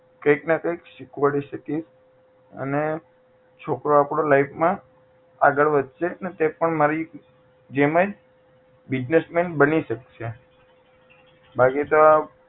કંઈક ને કંઈક શીખવાડી શકીશ અને છોકરો આપડો life માં આગળ વધશે ને તે પણ મારી જેમજ business man બની શકશે બાકી તો આ